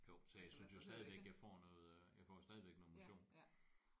Jo tag jeg synes jo stadigvæk jeg får noget øh jeg får jo stadigvæk noget motion